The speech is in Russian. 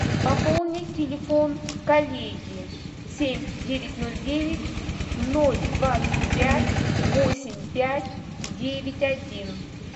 пополнить телефон коллеги семь девять ноль девять ноль двадцать пять восемь пять девять один